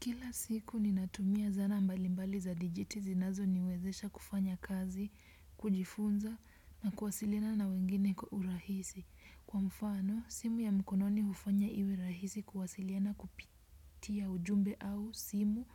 Kila siku ninatumia zana mbalimbali za digiti zinazoniwezesha kufanya kazi, kujifunza na kuwasilina na wengine kwa urahisi. Kwa mfano, simu ya mkononi hufanya iwe rahisi kuwasiliana kupitia ujumbe au simu